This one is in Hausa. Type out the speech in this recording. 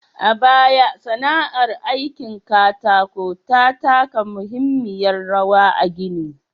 A baya, sana'ar aikin katako ta taka muhimmiyar rawar a gini.